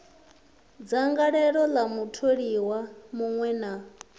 dzangalelo ḽa mutholiwa muṅwe na